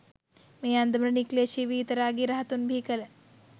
මේ අන්දමට නික්ලේෂි වීතරාගි රහතුන් බිහිකළ